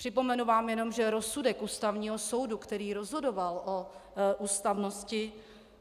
Připomenu vám jenom, že rozsudek Ústavního soudu, který rozhodoval o ústavnosti,